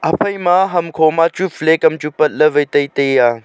iphaima ham khoma chu flake am chu patley vai tai tai ya.